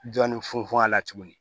Dɔɔnin funfun a la tuguni